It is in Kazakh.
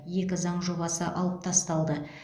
екі заң жобасы алып тасталды